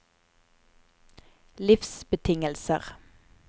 livsbetingelser